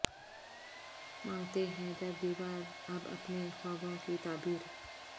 مانگتے ہیں در دیوار اب اپنے خوابوں کی تعبیر